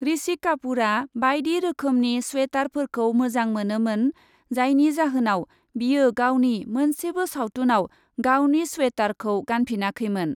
ऋषि कापुरआ बायदि रोखोमनि स्वेटारफोरखौ मोजां मोनोमोन, जायनि जाहोनाव बियो गावनि मोनसेबो सावथुनआव गावनि स्वेटारखौ गानफिनाखैमोन ।